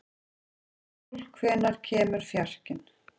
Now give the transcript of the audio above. Íssól, hvenær kemur fjarkinn?